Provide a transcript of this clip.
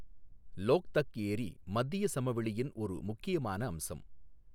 லோக்தக் ஏரி மத்திய சமவெளியின் ஒரு முக்கியமான அம்சம்.